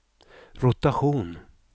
rotation